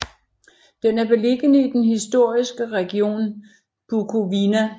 Den er beliggende i den historiske region Bukovina